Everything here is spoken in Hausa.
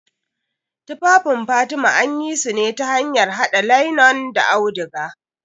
Tufafin fatima anyisune ta hanyar haɗa lainen da auduga.